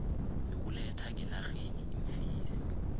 yokuletha ngenarheni iimfesi